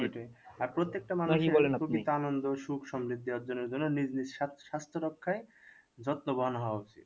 আর প্রত্যেকটা সুখ সমৃদ্ধ্যি দেওয়ার জন্য নিজ নিজ স্বাস্থ্য রক্ষায় যত্নবহন হওয়া উচিত